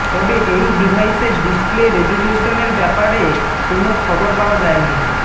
তবে এই ডিভাইসের ডিসপ্লে রেজিলিউশনের ব্যাপারে কোন খবর পাওয়া যায়নি